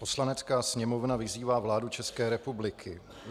"Poslanecká sněmovna vyzývá vládu České republiky